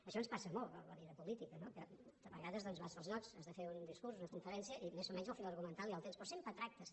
això ens passa molt a la vida política que de vegades doncs vas pels llocs has de fer un discurs una conferència i més o menys el fil argumental ja el tens però sempre tractes